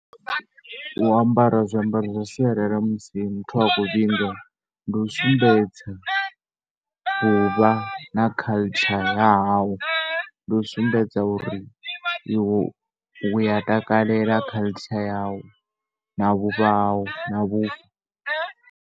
U ambara zwiambaro zwa sialala musi muthu a khou vhinga, ndi u sumbedza u vha culture ya hau. Ndi u sumbedza uri iwe u ya takalela culture yau na vhuvha hau na vhubvo.